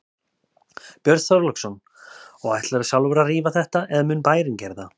Björn Þorláksson: Og ætlarðu sjálfur að rífa þetta eða mun bærinn gera það?